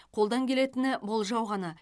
қолдан келетіні болжау ғана